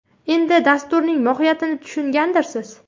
Endi dasturning mohiyatini tushungandirsiz.